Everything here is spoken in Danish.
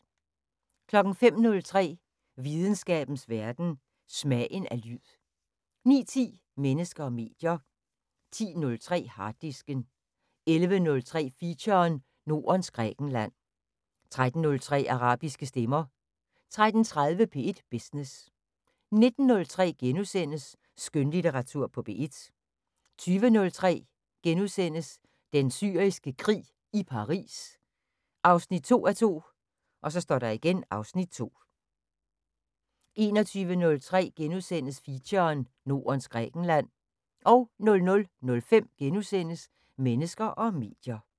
05:03: Videnskabens Verden: Smagen af lyd 09:10: Mennesker og medier 10:03: Harddisken 11:03: Feature: Nordens Grækenland 13:03: Arabiske stemmer 13:30: P1 Business 19:03: Skønlitteratur på P1 * 20:03: Den Syriske Krig – i Paris 2:2 (Afs. 2)* 21:03: Feature: Nordens Grækenland * 00:05: Mennesker og medier *